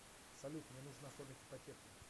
салют мне нужно оформить ипотеку